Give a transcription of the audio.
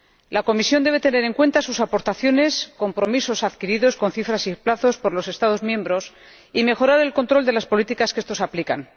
La Comisión debe tener en cuenta las aportaciones, los compromisos adquiridos con cifras y plazos por los Estados miembros, y mejorar el control de las políticas que éstos aplican.